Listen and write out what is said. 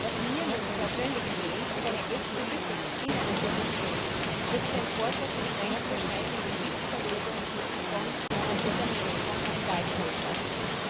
Was mir nun persönlich fehlt und eine echte Lücke des Binnenmarkts ist, ist ein Vorschlag für die grenzüberschreitende Sitzverlegung von Unternehmen, von Kapitalgesellschaften.